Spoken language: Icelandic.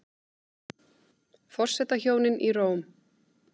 Forsetahjónin í Róm